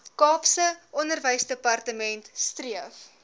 kaapse onderwysdepartement streef